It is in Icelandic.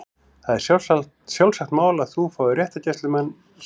Það er sjálfsagt mál að þú fáir réttargæslumann- sagði